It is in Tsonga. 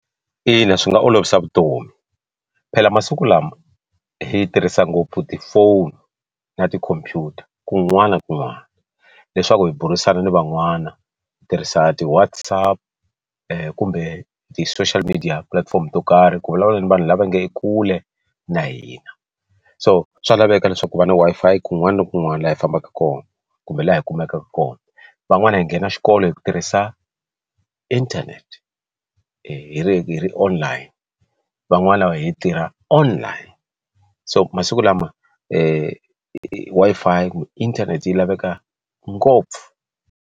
Ina, swi nga olovisa vutomi phela masiku lama hi tirhisa ngopfu tifoni na tikhompyuta kun'wana na kun'wana leswaku hi burisana na van'wana hi tirhisa ti WhatsApp ku kumbe ti social media platform to karhi ku vulavula na vanhu lava nge kule na hina so swa laveka leswaku va na Wi-Fi kun'wana na kun'wana laha hi fambaka kona kumbe laha yi kumekaka kona van'wani hi nghena xikolo hi ku tirhisa internet hi ri ri online van'wani lava hi tirha online so masiku lama Wi-Fi kumbe inthanete yi laveka ngopfu.